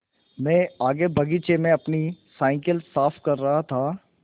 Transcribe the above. मैं आगे बगीचे में अपनी साईकिल साफ़ कर रहा था